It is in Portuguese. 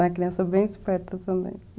É uma criança bem esperta também.